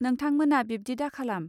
नोंथांमोना बिब्दि दाखालाम